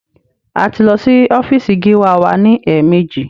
A ti lọ sí ọ́fíísì gíwá wa ní èèmejì.